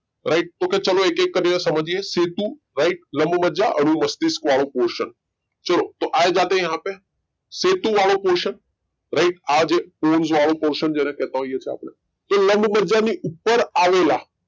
right તો કે ચલો એક એક કરીને સમજીયે સેતુ રાઈટ લંબમજ્જા અનુમસ્તિષ્ક વાળું portion ચલો આ જાતે હે યહાં પે સેતુ વાળું portion રાઈટ આ જે પોન્સ વાળું portion જેને બતાઈએ એને કે લાંબમજ્જા ની ઉપર આવેલા,